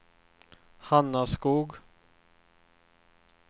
Hanaskog